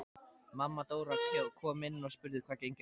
Mamma Dóra kom inn og spurði hvað gengi á.